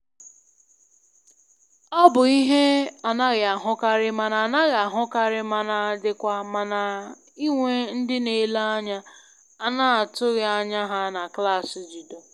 Ọ bụ ihe anaghị ahụkarị mana anaghị ahụkarị mana dịkwa mma inwe ndị n'ele anya a na atụghị anya ha na klaasị judo